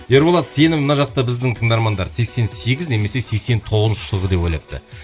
ерболат сені мына жақта біздің тыңдармандар сексен сегіз немесе сексен тоғызыншы жылғы деп ойлапты